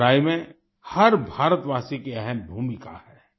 इस लड़ाई में हर भारतवासी की अहम भूमिका है